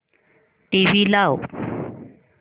TV लाव